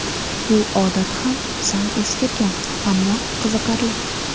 Bu odat ham sal eskirgan, ammo qiziqarli.